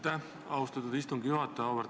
Aitäh, austatud istungi juhataja!